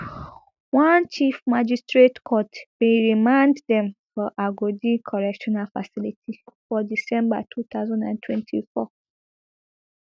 one chief magistrate court bin remand dem for agodi correctional facility for december two thousand and twenty-four